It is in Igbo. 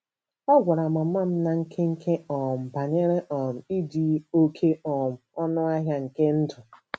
Ọ gwara mama m ná nkenke um banyere um ịdị oké um ọnụ ahịa nke ndụ.